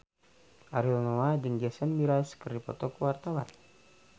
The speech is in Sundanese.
Ariel Noah jeung Jason Mraz keur dipoto ku wartawan